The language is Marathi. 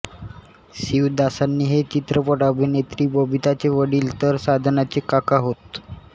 शिवदासानी हे चित्रपट अभिनेत्री बबिताचे वडील तर साधनाचे काका होत